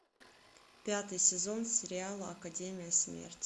пятый сезон сериала академия смерти